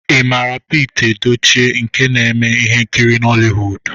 Ị mara Pita Edochie nke na-eme ihe nkiri Nollywood?